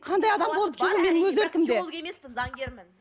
қандай адам болып шығу менің өз еркімде заңгермін